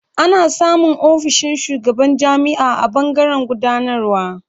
Ana samun ofishin shugaban jami'a a ɓangaren gudanarwa.